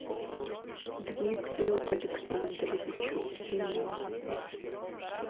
дмитрию александровичу семенову